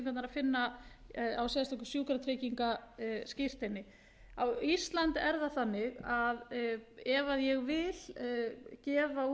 finna á sérstöku sjúkratryggingaskírteini á íslandi er það þannig að ef ég vil gefa úr